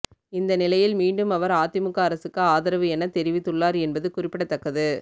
இந்த நிலையில் மீண்டும் அவர் அதிமுக அரசுக்கு ஆதரவு என தெரிவித்துள்ளார் என்பது குறிப்பிடத்தக்கது